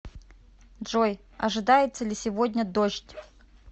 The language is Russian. джой ожидается ли сегодня дождь